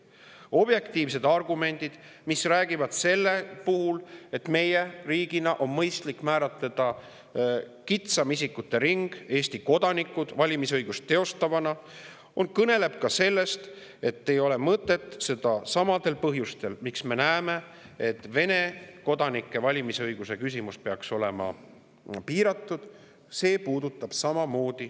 Objektiivsed argumendid, et meie riigil on mõistlik määratleda kitsam isikute ring ehk Eesti kodanikud valimisõiguse teostajatena, kõnelevad ka sellest, et ei ole mõtet seda samadel põhjustel, miks, nagu me näeme, Vene kodanike valimisõigus peaks olema piiratud.